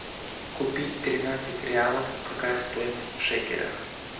купить тринадцать реалов какая стоимость в шекелях